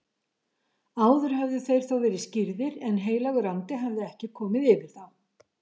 Áður höfðu þeir þó verið skírðir en heilagur andi hafði ekki komið yfir þá.